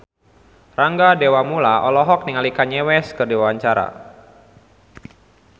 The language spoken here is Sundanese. Rangga Dewamoela olohok ningali Kanye West keur diwawancara